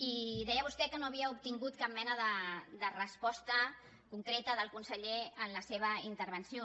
i deia vostè que no havia obtingut cap mena de resposta concreta del conseller en la seva intervenció